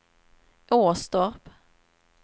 Åstorp